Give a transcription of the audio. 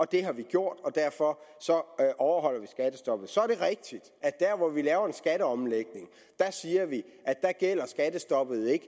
det har vi gjort og derfor overholder vi skattestoppet så er det rigtigt at der hvor vi laver en skatteomlægning siger vi at der gælder skattestoppet ikke